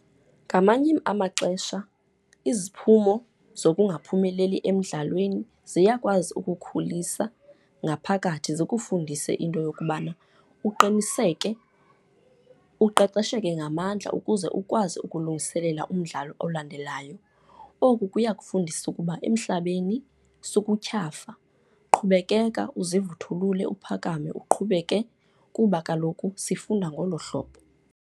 Ngamanye amaxesha iziphumo zokungaphumeleli emdlalweni ziyakwazi ukukhulisa ngaphakathi zikufundise into yokubana uqiniseke, uqeqesheke ngamandla ukuze ukwazi ukulungiselela umdlalo olandelayo. Oku kuyakufundisa ukuba emhlabeni sukutyhafa, qhubekeka uzivuthulele, uphakame uqhubeke kuba kaloku sifunda ngolo hlobo.